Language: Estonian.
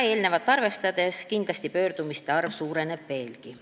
Seda arvestades kindlasti pöördumiste arv suureneb veelgi.